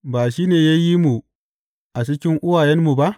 Ba shi ne ya yi mu a cikin uwayenmu ba?